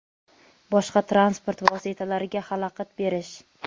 boshqa transport vositalariga xalaqit berish;.